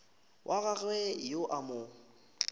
wa gagwe yo a mo